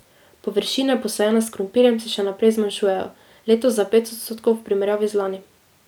Površine, posajene s krompirjem, se še naprej zmanjšujejo, letos za pet odstotkov v primerjavi z lani.